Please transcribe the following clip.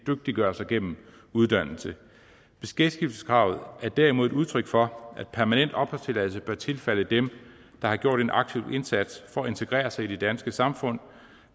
dygtiggøre sig gennem uddannelse beskæftigelseskravet er derimod et udtryk for at permanent opholdstilladelse bør tilfalde dem der har gjort en aktiv indsats for at integrere sig i det danske samfund